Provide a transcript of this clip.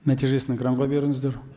нәтижесін экранға беріңіздер